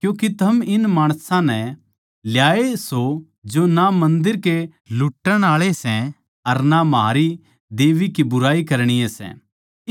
क्यूँके थम इन माणसां नै ल्याए सो जो ना मन्दर के लुट्टण आळे सै अर ना म्हारी देबी के बुराई करणीये सै